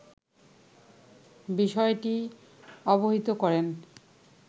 বিষয়টি অবহিত করেন